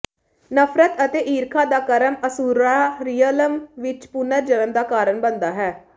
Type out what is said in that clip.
ਨਫ਼ਰਤ ਅਤੇ ਈਰਖਾ ਦਾ ਕਰਮ ਅਸੁਰਰਾ ਰੀਅਲਮ ਵਿੱਚ ਪੁਨਰ ਜਨਮ ਦਾ ਕਾਰਨ ਬਣਦਾ ਹੈ